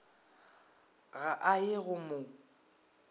ga a ye go mo